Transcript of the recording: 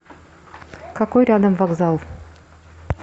какой рядом вокзал